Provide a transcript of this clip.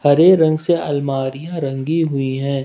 हरे रंग से अलमारियां रंगी हुई है।